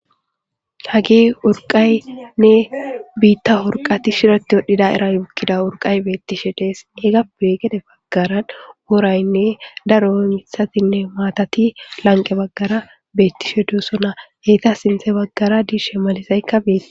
Hagee urqaynne biitta wurqati shiroti wodhdhida eran ukkida wurqay beettishe dees ega be gede baggaran woraynne daro mithatinne maatati lanqe baggara beettishe duossona heyta sinthe baggara diishe malisaykka biit.